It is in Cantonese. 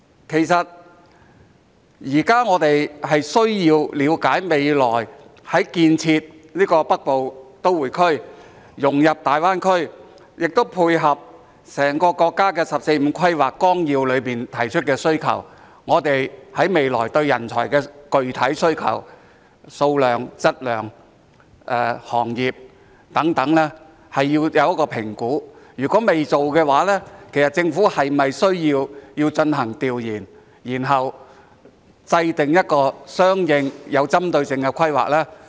其實，現在我們需要了解，未來建設的北部都會區須融入大灣區，亦須配合整個國家的《十四五規劃綱要》中提出的需求，所以我們對未來在人才方面的具體需求，包括數量、質量、行業等是要作出一個評估；如果未有評估，其實政府是否需要進行調研，然後制訂一個相應、有針對性的規劃呢？